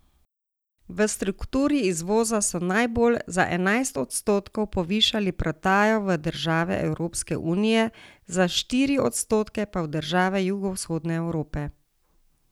V strukturi izvoza so najbolj, za enajst odstotkov, povišali prodajo v države Evropske unije, za štiri odstotke pa v države jugovzhodne Evrope.